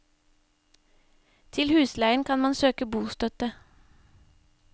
Til husleien kan man søke bostøtte.